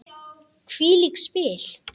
Hvílík spil!